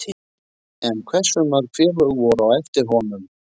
En hversu mörg félög voru á eftir honum?